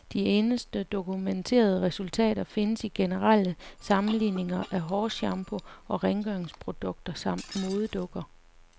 De eneste dokumenterede resultater findes i generelle sammenligninger af hårshampoo og rengøringsprodukter samt modedukker.